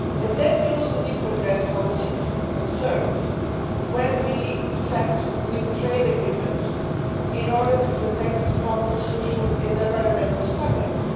Then we also need to address our citizens' concerns when we set new trade agreements in order to protect proper social and environmental standards.